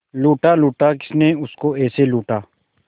लूटा लूटा किसने उसको ऐसे लूटा